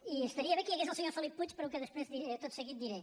i estaria bé que hi hagués el senyor felip puig pel que tot seguit diré